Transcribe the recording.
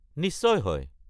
নিশ্চয় হয়।